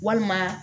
Walima